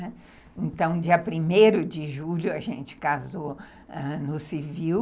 Então, dia primeiro de julho, a gente casou no civil.